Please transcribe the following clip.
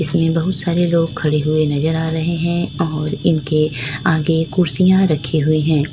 इनमें बहुत सारे लोग खड़े हुए नजर आ रहे है और इनके आगे कुर्सियां रखी हुई है।